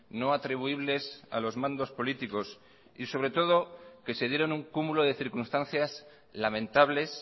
no atribuibles a los mandos políticos y sobre todo que se dieron un cúmulo de circunstancias lamentables